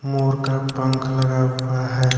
मोर का पंख लगा हुआ है।